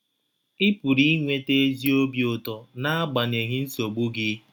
ị pụrụ inweta ezi obi ụtọ n’agbanyeghị nsogbu gị.